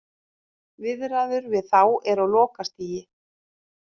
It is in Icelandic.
Viðræður við þá eru á lokastigi.